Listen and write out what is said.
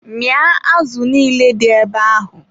Mịa azụ niile dị ebe ahụ!